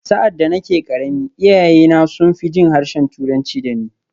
Sa’ad da nake ƙarami, iyayena sun fi jin harshen Turanci da ni.